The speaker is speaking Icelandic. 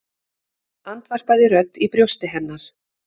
andvarpaði rödd í brjósti hennar.